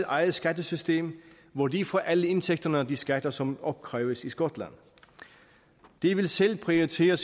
eget skattesystem hvor de får alle indtægterne af de skatter som opkræves i skotland de vil selv prioritere